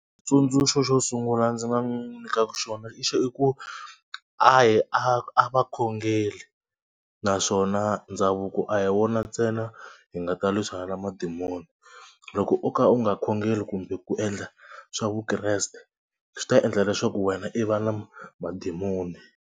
Tsundzuxo xo sungula ndzi nga n'wi nyikaka xona i ku a yi a a va khongeli naswona ndhavuko a hi wona ntsena hi nga ta lwisana na madimoni. Loko u kha u nga khongeli kumbe ku endla swa vukreste swi ta endla leswaku wena i va na madimoni.